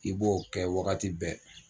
I b'o kɛ waagati bɛɛ.